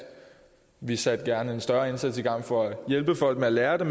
vi satte gerne en større indsats i gang for at hjælpe folk med at lære det